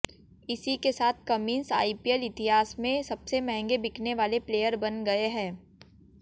इसी के साथ कमिंस आईपीएल इतिहास में सबसे महंगे बिकने वाले प्लेयर बन गए हैं